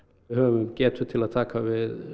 höfum getu til að taka við